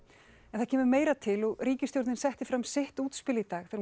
en það kemur meira til og ríkisstjórnin setti fram sitt útspil í dag þegar